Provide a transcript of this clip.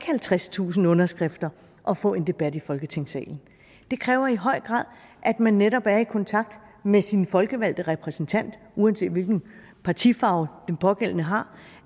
halvtredstusind underskrifter at få en debat i folketingssalen det kræver i høj grad at man netop er i kontakt med sin folkevalgte repræsentant uanset hvilken partifarve den pågældende har